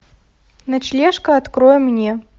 ночлежка открой мне